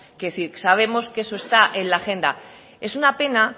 quiero decir sabemos que eso está en la agenda es una pena